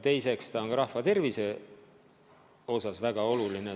Teiseks on see ka rahva tervise seisukohalt väga oluline.